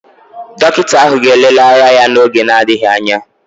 Dọkịta ahụ ga-elele ara ya n'oge na-adịghị anya